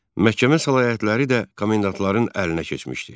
Məhkəmə səlahiyyətləri də komendantların əlinə keçmişdi.